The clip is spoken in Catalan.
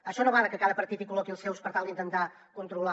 això no va de que cada partit hi col·loqui els seus per tal d’intentar controlar